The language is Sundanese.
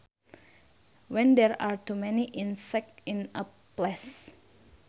When there are to many insects in a place